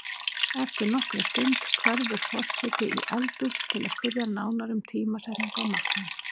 Eftir nokkra stund hverfur forseti í eldhús til að spyrja nánar um tímasetningu á matnum.